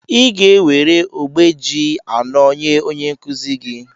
ị ga-enwere ogbe ji anọ nye onye nkuzi gị